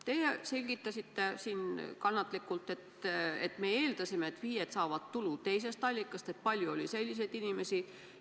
Teie selgitasite kannatlikult, et teie eeldasite, et FIE-d saavad tulu teisest allikast, et palju oli selliseid inimesi.